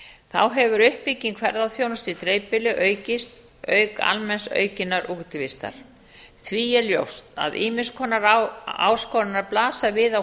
þá hefur uppbygging ferðaþjónustu í dreifbýli aukist auk almenns aukinnar útivistar því er ljóst að ýmiss konar áskoranir blasa við á